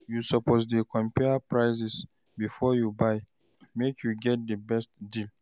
You suppose dey compare prices before you buy, make you get di best deal.